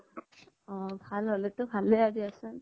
অ ভাল হ্'লে তো ভালে হয় দিয়াচোন